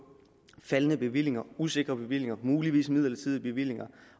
faldende bevillinger usikre bevillinger muligvis midlertidige bevillinger